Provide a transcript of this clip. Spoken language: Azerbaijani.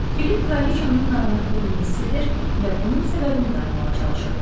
Filip kraliçanın narahatlığını hiss edir və bunun səbəbini tapmağa çalışırdı.